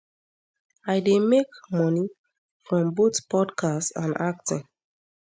i dey make money from both podcast and acting